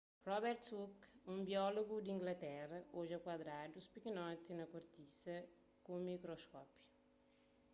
robert hooke un biólogu di inglaterra odja kuadradus pikinoti na kortisa ku un mikroskópiu